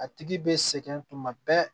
A tigi bɛ sɛgɛn tuma bɛɛ